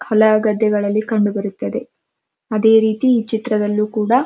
ಹೊಲ ಗದ್ದೆಗಳಲ್ಲಿ ಕಂಡು ಬರುತ್ತದೆ ಅದೇ ರೀತಿ ಈ ಚಿತ್ರದಲ್ಲಿ ಕೂಡ --